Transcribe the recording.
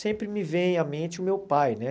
sempre me vem à mente o meu pai, né?